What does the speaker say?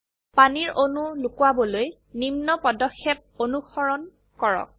পানীৰ অণু লোকোৱাবলৈ নিম্ন পদক্ষেপ অনুসৰণ কৰক